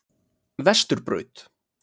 Vesturbraut